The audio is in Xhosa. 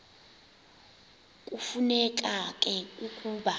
kufuneka ke ukuba